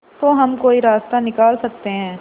तो हम कोई रास्ता निकाल सकते है